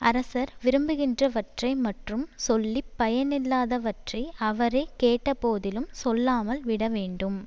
அரசர் விரும்புகின்றவற்றை மற்றும் சொல்லி பயனில்லாதவற்றை அவரே கேட்ட போதிலும் சொல்லாமல் விட வேண்டும்